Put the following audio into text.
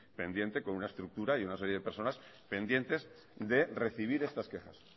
pendiente con una estructura y una serie de personas pendientes de recibir estas quejas